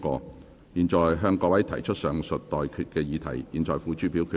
我現在向各位提出上述待決議題，付諸表決。